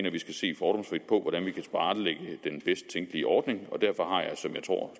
at vi skal se fordomsfrit på hvordan vi kan tilrettelægge den bedst tænkelige ordning og derfor har jeg som jeg tror